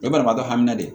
O ye banabaatɔ hakili de ye